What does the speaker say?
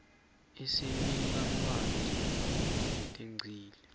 isinika lwati ngetintfo letengcile